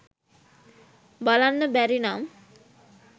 බලන්න බැරි නම්